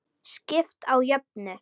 Skipt á jöfnu.